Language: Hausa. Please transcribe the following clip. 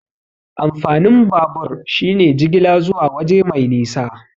Amfanin babur shine jigila zuwa waje mai nisa.